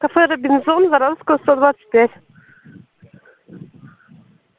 кафе робинзон воровского сто двадцать пять